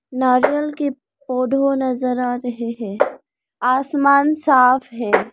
नारियल के पौधों नजर आ रहे हैं आसमान साफ है।